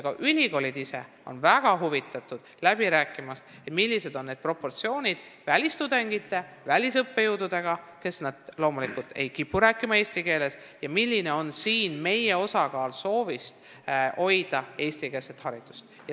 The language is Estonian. Ka ülikoolid ise on väga huvitatud läbi rääkimast, milline proportsioon on meil välistudengeid või välisõppejõudude, kes loomulikult ei kipu rääkima eesti keeles, ja kui suur on meie enda soov hoida eestikeelset haridust.